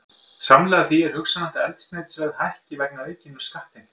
Samhliða því er hugsanlegt að eldsneytisverð hækki vegna aukinnar skattheimtu.